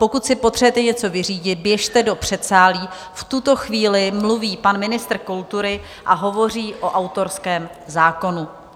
Pokud si potřebujete něco vyřídit, běžte do předsálí, v tuto chvíli mluví pan ministr kultury a hovoří o autorském zákonu.